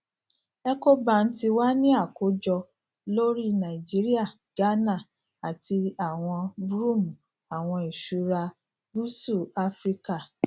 ecobank ti wa ni akojọ lori naijiria ghana ati brvm awọn iṣura gúúsù áfíríkà